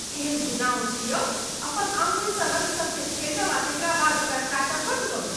केहन घिनाओन छी यौ? अपन आङ्गुरसँ रङ्ग सबकेँ फेँटब आ तेकरा बाद ओकरा चाटब बन्द करू।